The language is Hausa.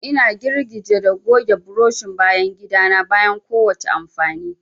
Ina girgije da goge burushin bayan gida na bayan kowace amfani.